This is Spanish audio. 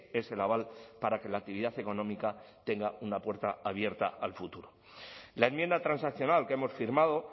es el aval para que la actividad económica tenga una puerta abierta al futuro la enmienda transaccional que hemos firmado